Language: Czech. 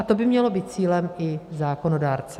A to by mělo být cílem i zákonodárce.